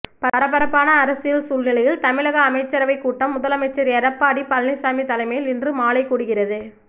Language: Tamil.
பரபரப்பான அரசியல் சூழ்நிலையில் தமிழக அமைச்சரவைக் கூட்டம் முதலமைச்சர் எடப்பாடி பழனிச்சாமி தலைமையில் இன்று மாலை கூடுகிறது